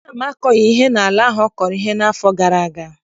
Nna m akọghị ihe n'ala ahụ ọ kọrọ ihe n'afọ gara aga.